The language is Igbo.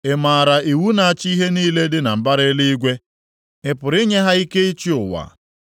Ị maara iwu na-achị ihe niile dị na mbara eluigwe? Ị pụrụ inye ha ike ịchị ụwa?